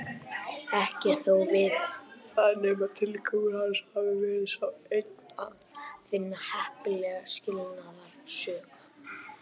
Ekki er þó vitað nema tilgangur hans hafi verið sá einn að finna heppilega skilnaðarsök.